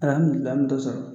Lamini lam t'o sɔrɔ